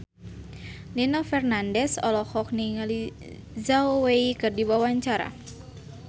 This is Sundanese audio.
Nino Fernandez olohok ningali Zhao Wei keur diwawancara